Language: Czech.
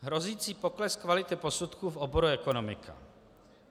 Hrozící pokles kvality posudků v oboru ekonomika.